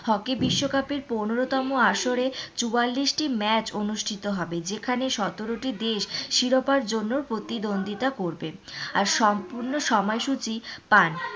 hockey বিশ্বকাপে পনেরো তম আসরে চুয়াল্লিশ টি match অনুষ্টিত হবে যেখানে সতেরোটি দেশ শিরোপার জন্য প্রতিদ্বন্ধিতা করবে আর সময় সূচি পাঁচ,